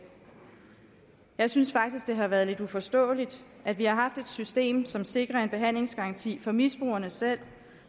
jeg synes faktisk at det har været lidt uforståeligt at vi har haft et system som sikrer en behandlingsgaranti for misbrugerne selv